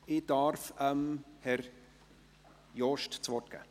Ich darf Herrn Jost das Wort geben.